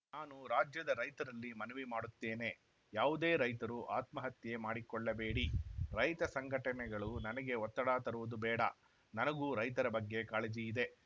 ನಾನು ರಾಜ್ಯದ ರೈತರಲ್ಲಿ ಮನವಿ ಮಾಡುತ್ತೇನೆ ಯಾವುದೇ ರೈತರು ಆತ್ಮಹತ್ಯೆ ಮಾಡಿಕೊಳ್ಳಬೇಡಿ ರೈತ ಸಂಘಟನೆಗಳು ನನಗೆ ಒತ್ತಡ ತರುವುದು ಬೇಡ ನನಗೂ ರೈತರ ಬಗ್ಗೆ ಕಾಳಜಿ ಇದೆ